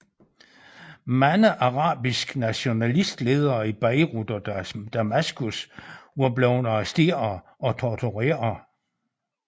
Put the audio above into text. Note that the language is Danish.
Mange arabiske nationalistledere i Beirut og Damaskus var blevet arresteret og tortureret